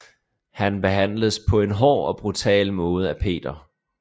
Han behandledes på en hård og brutal måde af Peter